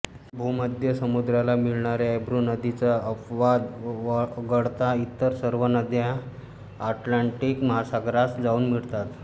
भूमध्य समुद्राला मिळणाऱ्या एब्रो नदीचा अपवाद वगळता इतर सर्व नद्या अटलांटिक महासागरास जाऊन मिळतात